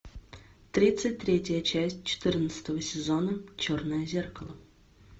тридцать третья часть четырнадцатого сезона черное зеркало